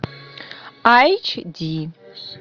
айч ди